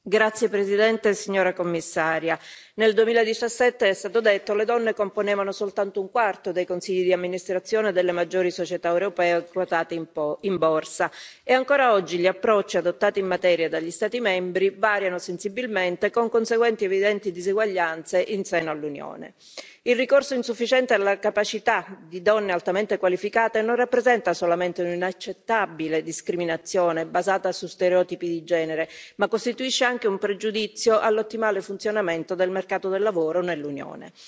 Signor Presidente, signora Commissaria, onorevoli colleghi, nel 2017, è stato detto, le donne componevano soltanto un quarto dei consigli di amministrazione delle maggiori società europee quotate in Borsa e, ancora oggi, gli approcci adottati in materia dagli Stati membri variano sensibilmente, con conseguenti evidenti diseguaglianze in seno all'Unione. Il ricorso insufficiente alle capacità di donne altamente qualificate non rappresenta solamente un'inaccettabile discriminazione basata su stereotipi di genere, ma costituisce anche un pregiudizio all'ottimale funzionamento del mercato del lavoro nell'Unione.